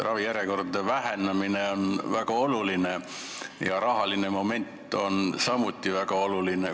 Ravijärjekordade lühendamine on väga oluline ja rahaline moment on samuti väga oluline.